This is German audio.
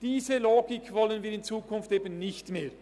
Diese Logik wollen wir in Zukunft eben nicht mehr.